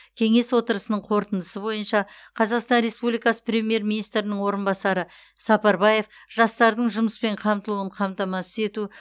кеңес отырысының қорытындысы бойынша қазақстан республикасы премьер министрінің орынбасары сапарбаев жастардың жұмыспен қамтылуын қамтамасыз ету